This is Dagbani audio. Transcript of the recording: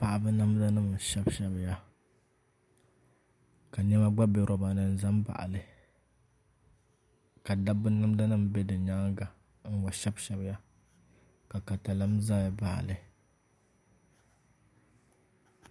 Paɣaba namda nim n shɛbi shɛbiya ka niɛma gba bɛ roba ni n ʒɛ n baɣali ka dabba namda nim bɛ di nyaanga ka di gba shɛbi shɛbiya ka katalɛm ʒɛya baɣali